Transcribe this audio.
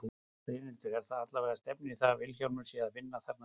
Brynhildur: En það allavega stefnir í það að Vilhjálmur sé að vinna þarna stórsigur?